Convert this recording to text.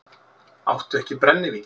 Áttu ekki brennivín?